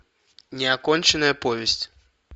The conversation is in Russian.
неоконченная повесть